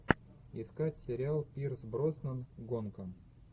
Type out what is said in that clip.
искать сериал пирс броснан гонка